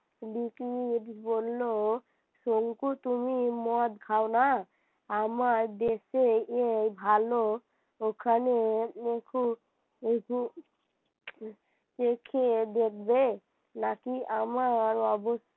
শঙ্কু তুমি মদ খাও না আমার দেশে এই ভালো ওখানে নিখুঁত নিখুঁত চোখে দেখবে নাকি আমার অব,